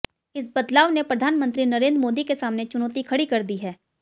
इस बदलाव ने प्रधानमंत्री नरेंद्र मोदी के सामने चुनौती खड़ी कर दी है